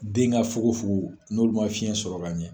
Den ka fogo fogo n'o ma fiɲɛ sɔrɔ ka ɲɛ.